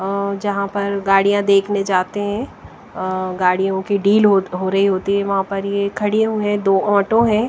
अ जहाँ पर गाड़ियां देखने जाते हैं अ गाड़ियों की डील हो हो रही होती है वहाँ पर ये खड़े हुए हैं दो ऑटो हैं।